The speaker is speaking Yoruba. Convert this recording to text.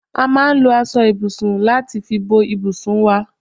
A máa ń lò aṣọ ibùsùn láti fi bò ibùsùn wá